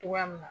Togoya min na